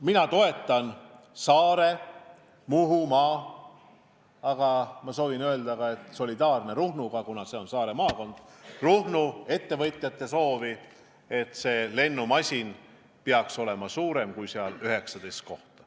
Mina toetan Saaremaa ja Muhumaa – aga ma olen solidaarne ka Ruhnuga, mis on samuti Saare maakond – ettevõtjaid, kes soovivad, et see lennumasin peaks olema suurem kui 19 kohta.